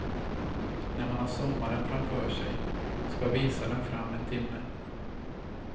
När man har sommaren framför sig, ska visaren fram en timme.